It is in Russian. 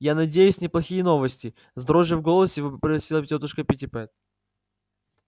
я надеюсь неплохие новости с дрожью в голосе вопросила тётушка питтипэт